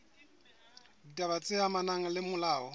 ditaba tse amanang le molao